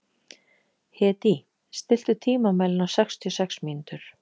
Hedí, stilltu tímamælinn á sextíu og sex mínútur.